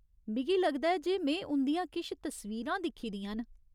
मिगी लगदा ऐ जे में उं'दियां किश तस्वीरां दिक्खी दियां न।